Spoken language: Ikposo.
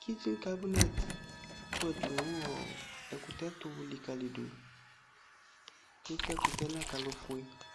kichin kabunɛt akpɔɛɖʋ nʋ ɛkutɛ tʋ likaliɖʋEsi ɛkutɛ nʋ akalo fue